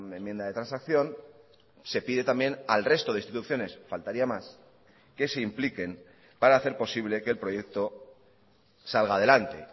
enmienda de transacción se pide también al resto de instituciones faltaría más que se impliquen para hacer posible que el proyecto salga adelante